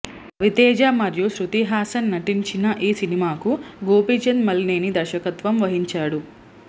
రవితేజ మరియు శృతి హాసన్ నటించిన ఈ సినిమాకు గోపీచంద్ మలినేని దర్శకత్వం వహించాడు